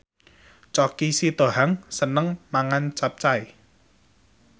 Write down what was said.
Choky Sitohang seneng mangan capcay